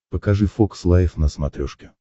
покажи фокс лайф на смотрешке